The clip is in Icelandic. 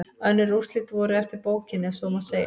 Önnur úrslit voru eftir bókinni ef svo má segja.